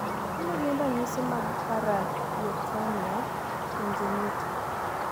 Mage magin ranyisi mag Paramyotonia congenita?